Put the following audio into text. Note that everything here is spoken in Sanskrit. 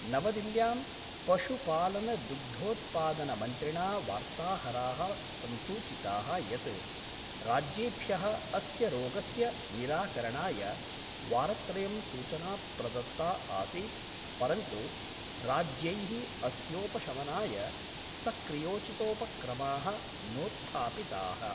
नवदिल्यां पशुपालनदुग्धोत्पादनमन्त्रिणा वार्ताहराः संसूचिताः यत् राज्येभ्यः अस्य रोगस्य निराकरणाय वारत्रयं सूचना प्रदत्ता आसीत् परन्तु राज्यैः अस्योपशमनाय सक्रियोचितोपक्रमाः नोत्थापिताः।